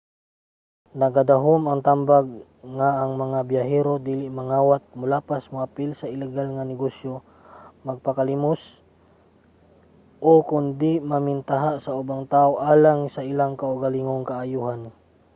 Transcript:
nagadahom ang tambag nga ang mga biyahero dili mangawat molapas moapil sa iligal nga negosyo magpakilimos o kon dili man mamentaha sa ubang tawo alang sa ilang kaugalingong kaayohan